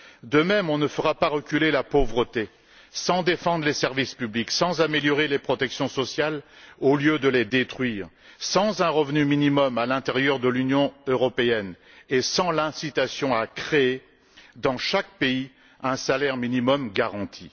De même, nous ne ferons pas reculer la pauvreté sans défendre les services publics, sans améliorer les protections sociales au lieu de les détruire, sans un revenu minimum à l'intérieur de l'Union européenne et sans l'incitation à créer, dans chaque pays, un salaire minimum garanti.